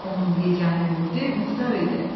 Onun yeganə ümidi Muxtar idi.